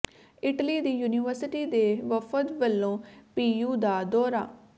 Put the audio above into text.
Italy ਦੀ university ਦੇ ਵਫ਼ਦ ਵੱਲੋਂ ਪੀਯੂ ਦਾ ਦੌਰਾ